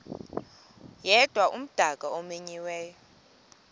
yedwa umdaka omenyiweyo